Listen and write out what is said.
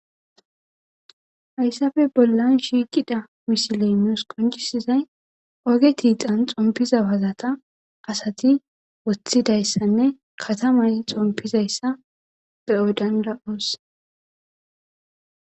Hayssafe bollan shiiqida misilenos qoncisizay oge tiixan xompiza wazata asati woththidayssanne katamay xompizayssa be odan ra'oos